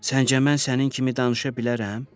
Səncə mən sənin kimi danışa bilərəm?